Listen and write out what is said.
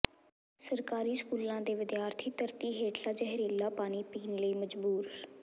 ਸਰਕਾਰੀ ਸਕੂਲਾਂ ਦੇ ਵਿਦਿਆਰਥੀ ਧਰਤੀ ਹੇਠਲਾ ਜ਼ਹਿਰੀਲਾ ਪਾਣੀ ਪੀਣ ਲਈ ਮਜ਼ਬੂਰ